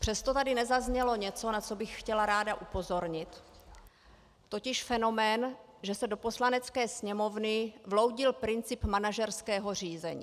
Přesto tady nezaznělo něco, na co bych chtěla ráda upozornit, totiž fenomén, že se do Poslanecké sněmovny vloudil princip manažerského řízení.